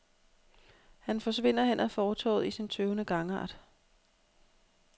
Han forsvinder hen ad fortovet i sin tøvende gangart.